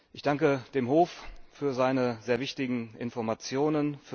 Ich danke dem Hof für seine sehr wichtigen Informationen!